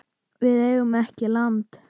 Við eigum ekki land.